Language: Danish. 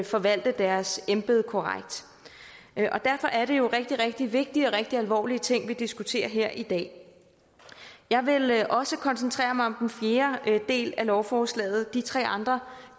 forvalte deres embede korrekt og derfor er det jo rigtig vigtige og rigtig alvorlige ting vi diskuterer her i dag jeg vil også koncentrere mig om den fjerde del af lovforslaget for de tre andre